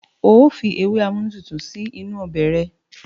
Óò Fi ewé amúnútutù sí inú ọbẹ̀ rẹ̀.